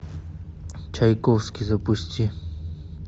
чайковский запусти